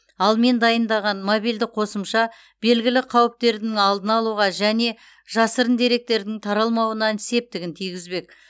ал мен дайындаған мобильді қосымша белгілі қауіптерді алдын алуға және жасырын деректердің таралмауына септігін тигізбек